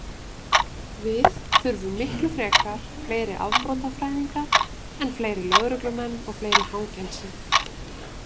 Við þurfum miklu frekar fleiri afbrotafræðinga en fleiri lögreglumenn og fleiri fangelsi.